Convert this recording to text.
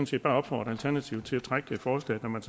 set bare opfordre alternativet til at trække det forslag når man